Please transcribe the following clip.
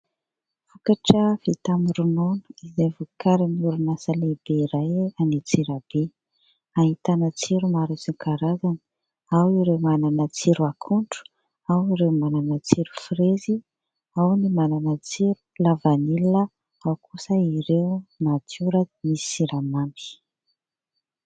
Vokatra vita amin'ny ronono izay vokarin'ny orinasa lehibe iray any Antsirabe. Ahitana tsiro maro isan-karazany. Ao ireo manana tsiro akondro, ao ireo manana tsiro frezy, ao ny manana tsiro lavanilina, ao kosa ireo natiora misy siramamy.